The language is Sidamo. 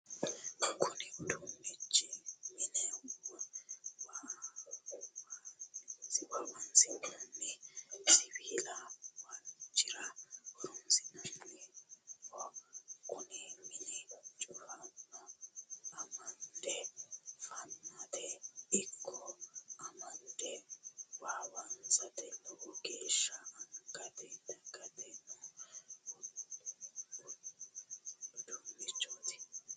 Kunni uduunichi mine waawansi'nanni siwiilu waalchira horoonsi'nanniho. Kunni minni cufanna amande fannateno iko amande waawansate lowo geesha angate dagatano uduunnichooti.